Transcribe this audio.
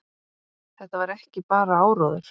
Þetta væri ekki bara áróður.